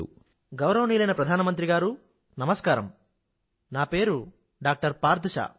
phone గౌరవనీయులైన ప్రధానమంత్రిగారూ నా పేరు డాక్టర్ పార్థ్ షా